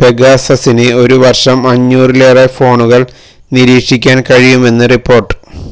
പെഗാസസിന് ഒരു വര്ഷം അഞ്ഞൂറിലേറെ ഫോണുകള് നിരീക്ഷിക്കാന് കഴിയുമെന്ന് റിപ്പോര്ട്ട്